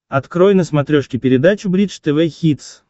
открой на смотрешке передачу бридж тв хитс